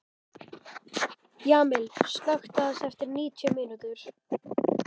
Jamil, slökktu á þessu eftir níutíu mínútur.